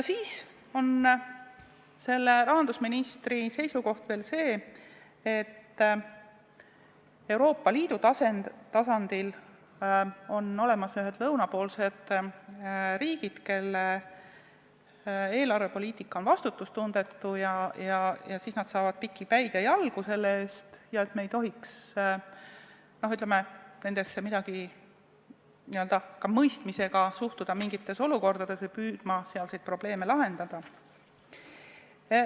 Selle rahandusministri seisukoht on veel see, et Euroopa Liidus on olemas lõunapoolsed riigid, kelle eelarvepoliitika on vastutustundetu, kes saavad piki päid ja jalgu selle eest, ja me ei tohiks nendesse mõistmisega suhtuda mingites olukordades või ei tohiks püüda sealseid probleeme lahendada.